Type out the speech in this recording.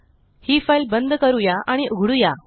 हि फाइल बंद करूया आणि उघडुया